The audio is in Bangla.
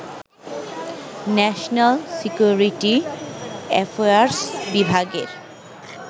ন্যাশনাল সিকিউরিটি অ্যাফেয়ার্স বিভাগের